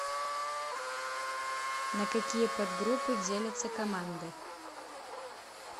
на какие подгруппы делятся команды